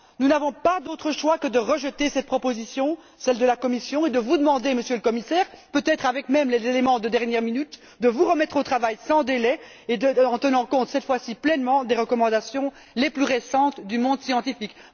Nous n'avons pas d'autre choix que de rejeter cette proposition, celle de la Commission, et de vous demander, Monsieur le Commissaire, peut être même avec les éléments de dernière minute, de vous remettre au travail sans délai en tenant compte, cette fois ci, pleinement des recommandations les plus récentes du monde scientifique.